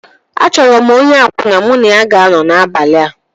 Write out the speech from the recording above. A chọrọ m onye akwụna mụ na ya ga-anọ n'abalị a